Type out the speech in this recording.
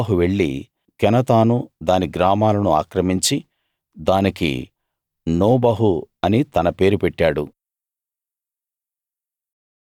నోబహు వెళ్లి కెనాతును దాని గ్రామాలను ఆక్రమించి దానికి నోబహు అని తన పేరు పెట్టాడు